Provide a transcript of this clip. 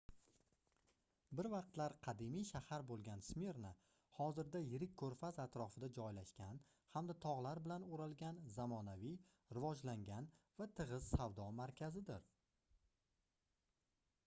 bir vaqtlar qadimiy shahar boʻlgan smirna hozirda yirik koʻrfaz atrofida joylashgan hamda togʻlar bilan oʻralgan zamonaviy rivojlangan va tigʻiz savdo markazidir